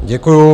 Děkuji.